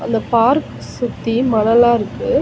அந்த பார்க் சுத்தி மணலா இருக்கு.